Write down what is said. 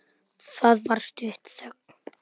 Það varð stutt þögn.